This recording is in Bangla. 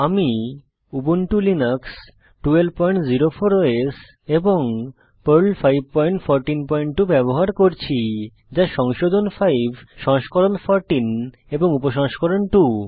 আমি উবুন্টু লিনাক্স 1204 ওএস এবং পর্ল 5142 ব্যবহার করছি যা সংশোধন 5 সংস্করণ 14 এবং উপসংস্করণ 2